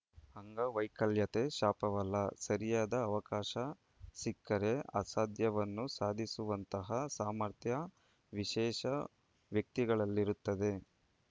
ಅಂಗವೈಕಲ್ಯತೆ ಶಾಪವಲ್ಲ ಸರಿಯಾದ ಅವಕಾಶ ಸಿಕ್ಕರೆ ಅಸಾಧ್ಯವನ್ನೂ ಸಾಧಿಸುವಂತಹ ಸಾಮರ್ಥ್ಯ ವಿಶೇಷ ವ್ಯಕ್ತಿಗಳಲ್ಲಿರುತ್ತದೆ